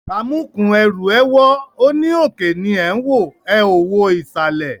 Amúkùn-ún ẹrù ẹ wọ́, ó ní òkè ni ẹ̀ ń wò, ẹ ò wo ìsàlẹ̀